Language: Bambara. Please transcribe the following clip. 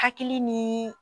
Hakili ni